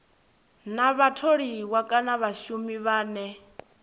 na vhatholiwa kana vhashumi vhane